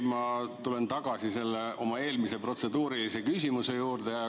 Ma tulen tagasi selle oma eelmise protseduurilise küsimuse juurde.